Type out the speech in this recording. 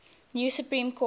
new supreme court